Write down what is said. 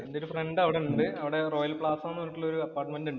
എന്‍റെ ഒരു ഫ്രണ്ട് അവിടെയുണ്ട്. റോയൽസ് പ്ലാസ എന്ന ഒരു അപ്പാര്‍ട്ട്മെന്റ് ഉണ്ട് അവിടെ.